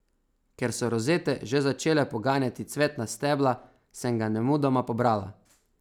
Ker so rozete že začele poganjati cvetna stebla, sem ga nemudoma pobrala.